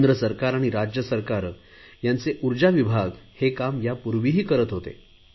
केंद्र सरकार आणि राज्य सरकारे यांचे ऊर्जा विभाग हे काम यापूर्वीही करत होते